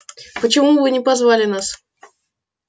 почему вы не позвали нас